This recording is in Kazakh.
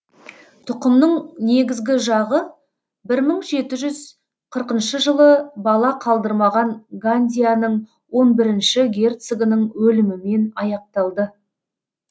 тұқымның негізгі жағы бір мың жеті жүз қырқыншы жылы бала қалдырмаған гандианың он бірінші герцогының өлімімен аяқталды